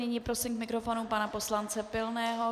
Nyní prosím k mikrofonu pana poslance Pilného.